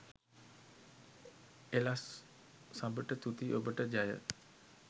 එලස් සබට තුති ඔබට ජය